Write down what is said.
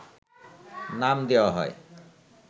নাম দেওয়া হয়